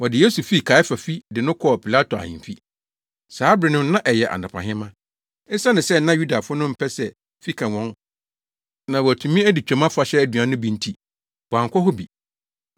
Wɔde Yesu fii Kaiafa fi de no kɔɔ Pilato ahemfi. Saa bere no na ɛyɛ anɔpahema. Esiane sɛ na Yudafo no mpɛ sɛ fi ka wɔn na wɔatumi adi Twam Afahyɛ aduan no bi nti, wɔankɔ hɔ bi.